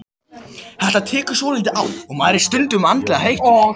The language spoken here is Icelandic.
Þetta tekur svolítið á og maður er stundum andlega þreyttur.